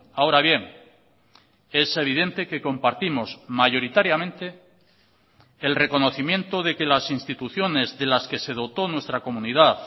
ahora bien es evidente que compartimos mayoritariamente el reconocimiento de que las instituciones de las que se dotó nuestra comunidad